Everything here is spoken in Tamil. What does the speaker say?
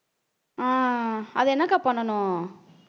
அஹ் அது என்னக்கா பண்ணணும்